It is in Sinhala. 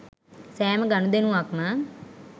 සෑම ගණුදෙනුවක්ම